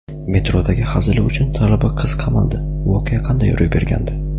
Metrodagi hazili uchun talaba qiz qamaldi: voqea qanday ro‘y bergandi?.